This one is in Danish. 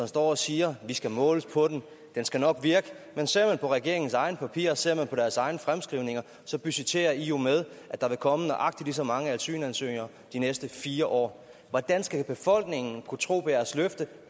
står og siger vi skal måles på den den skal nok virke men ser man på regeringens egne papirer og ser man på deres egne fremskrivninger så budgetterer i jo med at der vil komme nøjagtig lige så mange asylansøgninger de næste fire år hvordan skal befolkningen kunne tro på jeres løfte